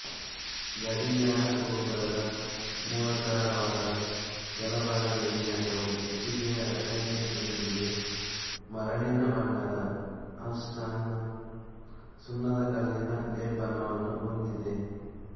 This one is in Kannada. ಗಡಿಯಾರ ಗೋಪುರದ ಮೂಲಾಧಾರವಾದ ಕೆಳಭಾಗದ ವಿನ್ಯಾಸವು ಇಟ್ಟಿಗೆಯ ರಚನೆಯೊಂದಿಗೆ ಮರಳಿನ ಬಣ್ಣದ ಆನ್ಸ್ಟನ್ ಸುಣ್ಣದಕಲ್ಲಿನ ಲೇಪನವನ್ನು ಹೊಂದಿದೆ